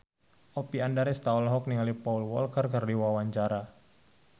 Oppie Andaresta olohok ningali Paul Walker keur diwawancara